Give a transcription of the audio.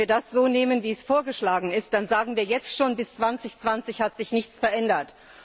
Denn wenn wir das so nehmen, wie es vorgeschlagen ist, dann sagen wir jetzt schon, bis 2020 hat sich nichts verändert.